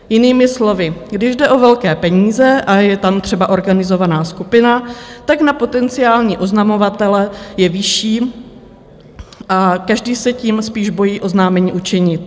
Jinými slovy, když jde o velké peníze a je tam třeba organizovaná skupina, tlak na potenciální oznamovatele je vyšší a každý se tím spíš bojí oznámení učinit.